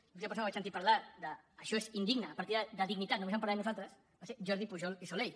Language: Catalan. l’última persona que vaig sentir parlar d’ això és indigne a partir d’ara de dignitat només en parlarem nosaltres va ser jordi pujol i soley